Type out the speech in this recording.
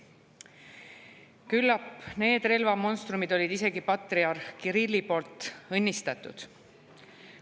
Küllap need relvamonstrumid olid isegi patriarh Kirilli poolt õnnistatud.